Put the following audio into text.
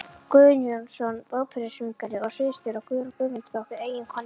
Guðjónsson, óperusöngvari og sviðsstjóri, og Guðrún Guðmundsdóttir, eiginkona